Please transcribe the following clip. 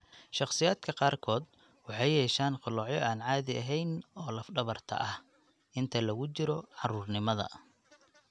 Shakhsiyaadka qaarkood waxay yeeshaan qalloocyo aan caadi ahayn oo lafdhabarta ah (scoliosis iyo lordosis) inta lagu jiro carruurnimada.